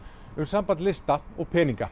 um samband lista og peninga